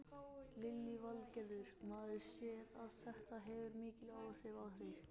Lillý Valgerður: Maður sér að þetta hefur mikil áhrif á þig?